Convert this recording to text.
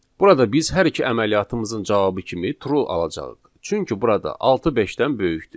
Burada biz hər iki əməliyyatımızın cavabı kimi true alacağıq, çünki burada altı beşdən böyükdür.